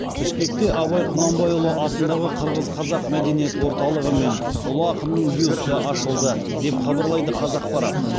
бішкекте абай құнанбайұлы атындағы қырғыз қазақ мәдениет орталығы мен ұлы ақынның бюсті ашылды деп хабарлайды қазақпарат